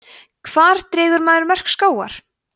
hvar dregur maður mörk skógar